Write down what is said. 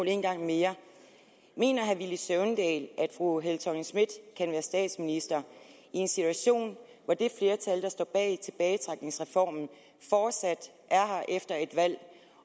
en gang mere mener herre villy søvndal at fru helle thorning schmidt kan være statsminister i en situation hvor det flertal der står bag tilbagetrækningsreformen fortsat er her efter et valg